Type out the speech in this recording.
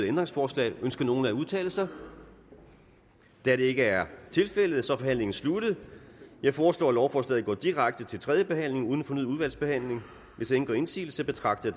ændringsforslag ønsker nogen at udtale sig da det ikke er tilfældet er forhandlingen sluttet jeg foreslår at lovforslaget går direkte til tredje behandling uden fornyet udvalgsbehandling hvis ingen gør indsigelse betragter